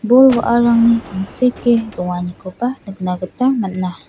bol wa·arangni tangseke donganikoba nikna gita man·a.